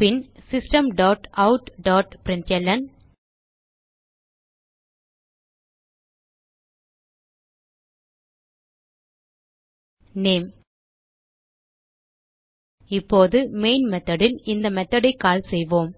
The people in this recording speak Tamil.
பின் system dot out dot println name இப்போது மெயின் மெத்தோட் ல் இந்த மெத்தோட் ஐ கால் செய்வோம்